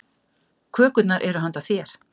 Kökurnar eru handa þér.